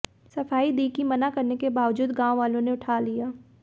सफाई दी कि मना करने के बावजूद गांव वालों ने उठा लिया